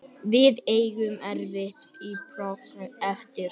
Við eigum erfitt prógramm eftir